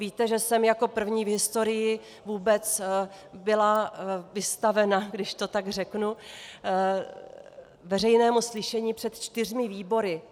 Víte, že jsem jako první v historii vůbec byla vystavena, když to tak řeknu, veřejnému slyšení před čtyřmi výbory.